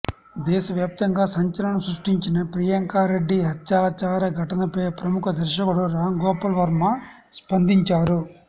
దేశవ్యాప్తంగా సంచలనం సృష్టించిన ప్రియాంకారెడ్డి హత్యాచార ఘటనపై ప్రముఖ దర్శకుడు రాంగోపాల్ వర్మ స్పందించారు